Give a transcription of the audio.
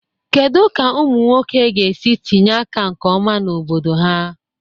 Kedu ka ụmụ nwoke ga-esi tinye aka nke ọma na obodo ha?